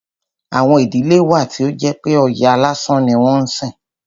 Àwọn ìdílé wà tí ó jẹ́ pé Ọya lásán ni wọ́n ń sìn.